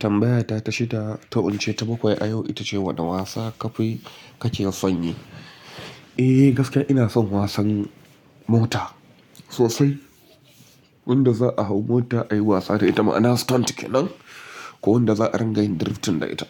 Tambaya ta ta shida, ta wuce ta bakwai a yau ita ce, wane wasa kafi ka ke son yi? Eh gaskiya ina son wasan mota sosai, wanda za a hau mota ayi wasa da ita ma'ana stunt kenan. Ko wanda za a dingayin drifting da ita